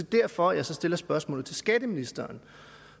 derfor at jeg så stiller spørgsmålet til skatteministeren